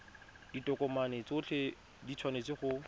ditokomane tsotlhe di tshwanetse go